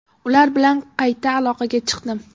Ular bilan qayta aloqaga chiqdim.